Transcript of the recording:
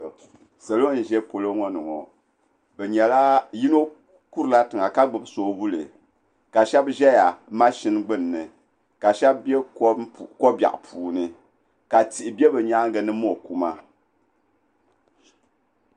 Salo n ʒɛ polo ŋo ni ŋo yino kurila tiŋa ka gbubi soobuli ka shab ʒɛya mashin gbunni ka shab bɛ ko biɛɣu puuni ka tihi bɛ bi nyaangi ni mo kuma